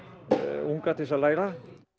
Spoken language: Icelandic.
unga til þess að læra